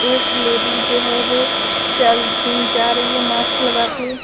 एक लेडीज जो है वो चल जा रही है मास्क लगा के।